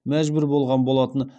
мәжбүр болған болатын